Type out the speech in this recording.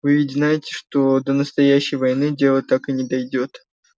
вы ведь знаете что до настоящей войны дело так и не дойдёт